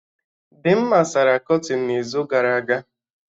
Dimma sara kọtịn n'izu gara aga